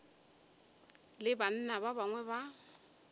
le banna ba bangwe ba